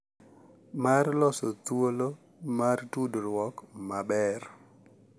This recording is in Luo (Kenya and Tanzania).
Mar loso thuolo mar tudruok maber.